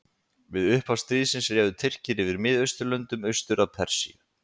við upphaf stríðsins réðu tyrkir yfir miðausturlöndum austur að persíu